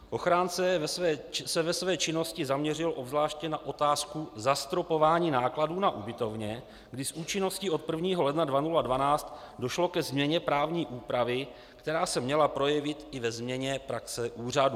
Ochránce se ve své činnosti zaměřil zvláště na otázku zastropování nákladů na ubytovně, kdy s účinností od 1. ledna 2012 došlo ke změně právní úpravy, která se měla projevit i ve změně praxe úřadů.